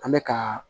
An bɛ ka